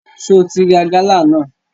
Só o ti ra gálà náà?